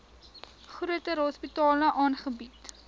groter hospitale aangebied